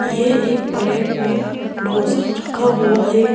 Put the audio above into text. ये एक प्लेट में ढोसा रखा हुआ है।